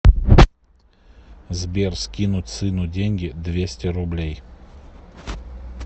сбер скинуть сыну деньги двести рублей